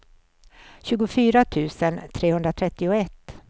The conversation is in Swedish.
tjugofyra tusen trehundratrettioett